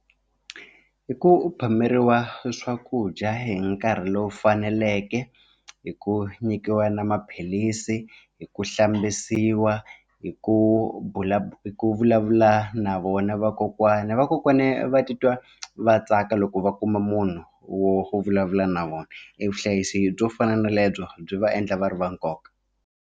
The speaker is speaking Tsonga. I ku phameriwa swakudya hi nkarhi lowu faneleke i ku nyikiwa na maphilisi i ku hlambisiwa i ku ku vulavula na vona vakokwana vakokwana va titwa va tsaka loko va kuma munhu wo wo vulavula na vona evuhlayisi byo fana na lebyo byi va endla va ri va nkoka.